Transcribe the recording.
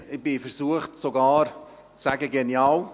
Ich bin sogar versucht, zu sagen, genial.